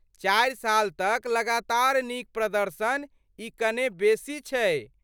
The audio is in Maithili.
चारि साल तक लगातार नीक प्रदर्शन, ई कने बेसी छै।